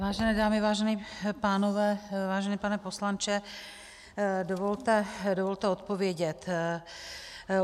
Vážené dámy, vážení pánové, vážený pane poslanče, dovolte odpovědět.